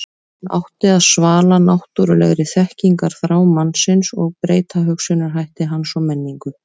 hún átti að svala náttúrulegri þekkingarþrá mannsins og breyta hugsunarhætti hans og menningu